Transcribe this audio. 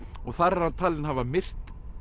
og þar er hann talinn hafa myrt